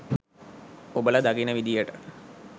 ඔබල දකින විදියට